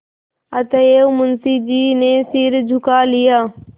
अतएव मुंशी जी ने सिर झुका लिया